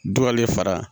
Du hali fara